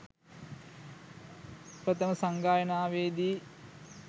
ප්‍රථම සංඝායනාවේදී